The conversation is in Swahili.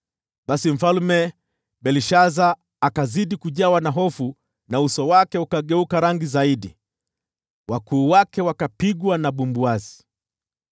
Basi Mfalme Belshaza akazidi kujawa na hofu, na uso wake ukageuka rangi zaidi. Wakuu wake wakapigwa na bumbuazi.